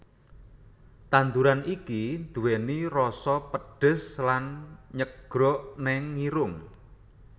Tandhuran iki nduweni roso pedhes lan nyegrok neng irung